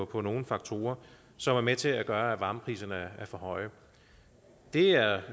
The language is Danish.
på nogle faktorer som er med til at gøre at varmepriserne er for høje det er